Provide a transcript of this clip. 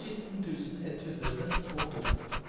sytten tusen ett hundre og to